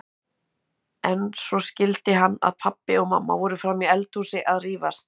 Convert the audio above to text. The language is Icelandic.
En svo skildi hann að pabbi og mamma voru frammi í eldhúsi að rífast.